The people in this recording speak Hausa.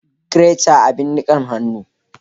Greater abin nikan hannu